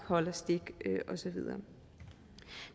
holder stik og så videre